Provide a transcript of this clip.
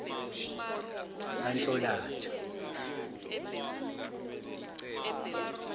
kanhlolanja